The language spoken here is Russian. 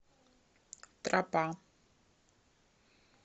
тропа